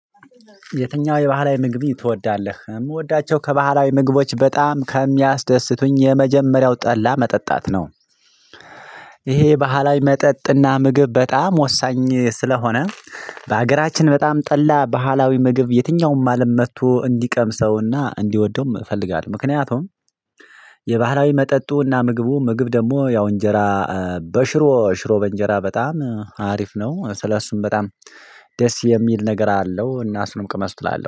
የትኛው የባህላዊ ምግብ ትወዳለህ ምወዳቸው ከባህላዊ ምግቦች በጣም ከሚያስደስቱኝ የመጀመሪያው ጠላ መጠጣት ነው። ይሄ ባህላዊ መጠጥና ምግብ በጣም ወሳኝ ስለሆነ በሀገራችን በጣም ጠላ ባህላዊ ምግብ የትኛውም አለም መጥቶ እንዲቀምሰውና እንዲወደውም እፈልጋለሁ ምክንያቱም የባህራዊ መጠጡና ምግቡ ምግብ ደግሞ ያው እንጀራ በሽሮ ሽሮ በእንጀራ በጣም አሪፍ ነው ስለእሱም በጣም ደስ የሚል ነገር አለው እና እሱንም ቅመሱት እላለሁ